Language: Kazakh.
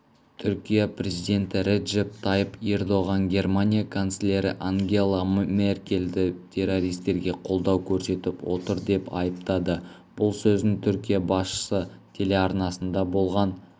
түркия президенті реджеп тайып ердоған германия канцлері ангела меркельді террористерге қолдау көрсетіп отыр деп айыптады бұл сөзін түркия басшысы телеарнасында болған